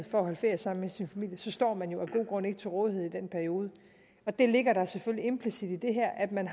for at holde ferie sammen med sin familie så står man jo af gode grunde ikke til rådighed i den periode der ligger selvfølgelig implicit i det her at man